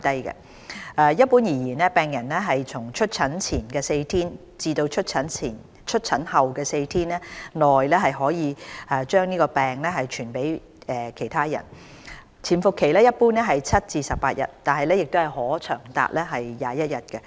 一般而言，病人從出疹前4天至出疹後4天內可把病傳染給別人，潛伏期一般為7至18天，但可長達21天。